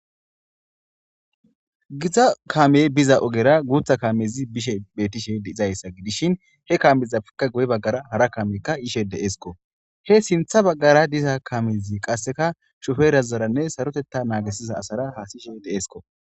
Giza kamey biza ogera guutha kaamezi bishe betishe dizayssa gidishin he kamezaka goye baggara hara kamekka ishe deesko he sintha baggara diza kamezi qasseka shuferazaranne sarotetta naagisiza asara haasishe deesko.